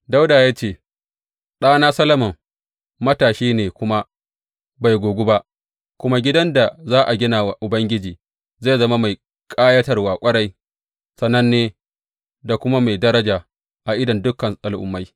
Dawuda ya ce, Ɗana Solomon matashi ne kuma bai gogu ba, kuma gidan da za a gina wa Ubangiji zai zama mai ƙayatarwa ƙwarai, sananne da kuma mai daraja a idon dukan al’ummai.